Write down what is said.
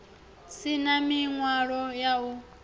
si na ḽiṅwalo ḽa u